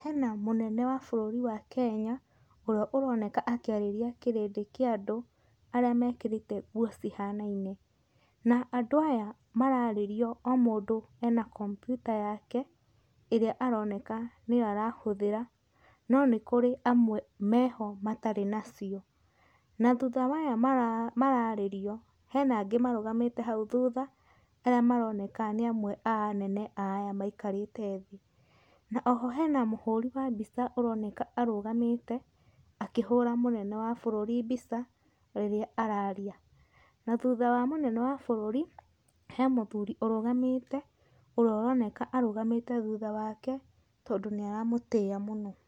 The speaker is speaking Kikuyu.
Hena mũnene wa bũrũri wa Kenya, ũrĩa ũroneka ũkĩarĩrĩa kĩrĩndĩ kĩa andũ arĩa mekĩrĩte nguo cihanaine. Na andũ aya mararĩrio o mũndũ ena kompyuta yake ĩrĩa aroneka nĩyo arahũdhĩra no nĩkũrĩ amwe meho matarĩ na ci, na thutha wa maya mararĩrio hena angĩ marũgamĩte hau thutha arĩa maroneka nĩa amwe a anene ma arĩa maikarĩte thĩĩ, na oho hena mũhũri wa mbica ũroneka arũgamĩte akĩhũra mũnene wa bũrũri mbica rĩrĩa araria na thutha wa mũnene wa mũnene wa bũrũri he mũthuri arũgamĩte ũrĩa aroneka arũgamĩte thutha wake tondũ nĩaramũithia mũno.